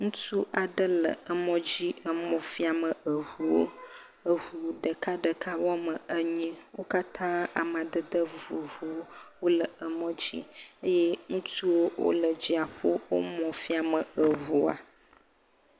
Ŋutsu aɖe le emɔdzi emɔ fiame eŋuwo. Eŋu ɖekaɖeka woame enyi. Wo katã amadede vovovowo wole emɔdzi eye ŋutsuwo wole edziaƒo wo emɔ fiame eŋua.